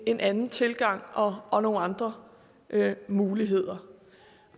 en anden tilgang og og nogle andre muligheder